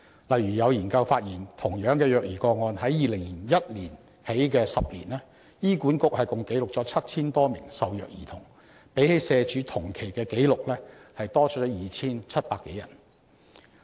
例如，有研究發現，同樣是虐兒個案，自2001年起的10年，醫院管理局共記錄了 7,000 多名受虐兒童，比起社署同期的紀錄多出 2,700 多人。